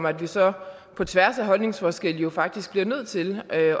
at vi så på tværs af holdningsforskelle jo faktisk bliver nødt til at